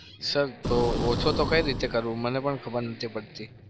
sir તો ઓછો તો કઈ રીતે કરવો મને પણ ખબર નથી પડતી.